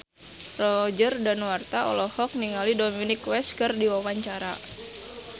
Roger Danuarta olohok ningali Dominic West keur diwawancara